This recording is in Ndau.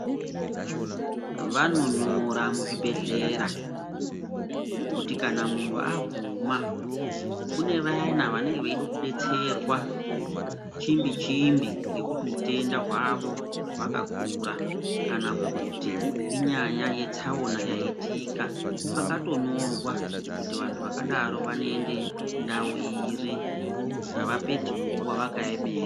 Vanonyora muzvibhedhlera kuti kana munhu aguma kune vaya vanoda kudetserwa chimbi chimbi ngekuti utenda hwavo hwakakura kana kuti inyaya yetsaona yaitika pakatonyorwa kuti vanhu zvakadaro vanoenda ndau iri. Avapedzi nguwa vakaemera.